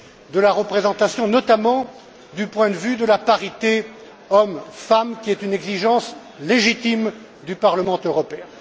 de la représentation, notamment du point de vue de la parité hommes femmes, qui constitue une exigence légitime du Parlement européen.